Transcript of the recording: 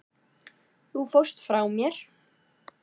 Þú fórst frá mér.